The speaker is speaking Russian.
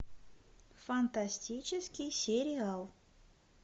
фантастический сериал